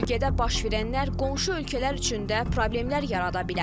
Bölgədə baş verənlər qonşu ölkələr üçün də problemlər yarada bilər.